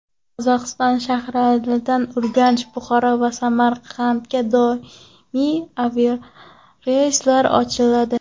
Qozog‘iston shaharlaridan Urganch, Buxoro va Samarqandga doimiy aviareyslar ochiladi.